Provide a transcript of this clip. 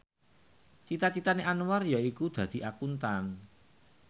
cita citane Anwar yaiku dadi Akuntan